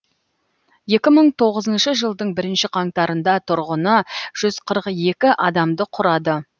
екі мың тоғызыншы жылдың бірінші қаңтарында тұрғыны жүз қырық екі адамды құрады